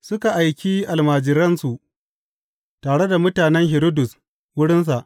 Suka aiki almajiransu tare da mutanen Hiridus wurinsa.